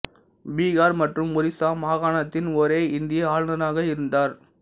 பீகார் மற்றும் ஒரிசா மாகாணத்தின் ஒரே இந்திய ஆளுநராக இருந்தார்